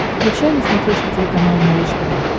включай на смотрешке телеканал малыш тв